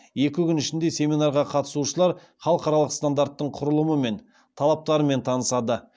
екі күн ішінде семинарға қатысушылар халықаралық стандарттың құрылымы мен талаптарымен танысады